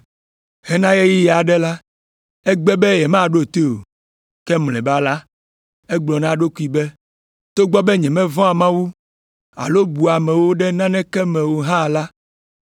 “Hena ɣeyiɣi aɖe la, egbe be yemaɖo toe o. Ke mlɔeba la, egblɔ na eɖokui be, ‘Togbɔ be nyemevɔ̃a Mawu alo bua amewo ɖe naneke me o hã la,